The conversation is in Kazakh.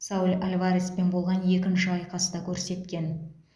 сауль альвареспен болған екінші айқаста көрсеткен